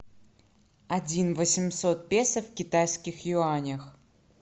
один восемьсот песо в китайских юанях